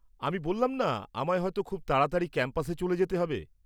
আমি বললাম না, আমায় হয়তো খুব তাড়াতাড়ি ক্যাম্পাসে চলে যেতে হবে।